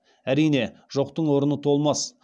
әрине жоқтың орны толмас